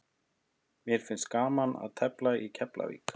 Mér finnst gaman að tefla í Keflavík.